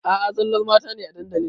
A a zallar mata ne a dandalin.